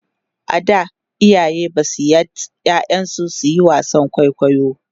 a da iyaye Basu yards ƴaƴan su suyi wasan kwaikwayo